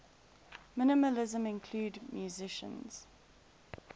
minimalism include musicians